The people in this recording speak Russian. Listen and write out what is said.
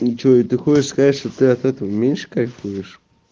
и что и ты хочешь сказать что ты от этого меньше кайфуешь